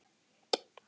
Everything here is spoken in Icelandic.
Elsku besta afa okkar.